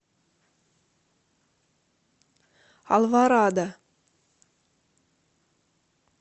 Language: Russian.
алворада